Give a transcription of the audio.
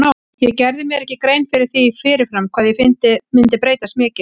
Ég gerði mér ekki grein fyrir því fyrir fram hvað ég myndi breytast mikið.